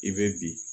I bɛ bi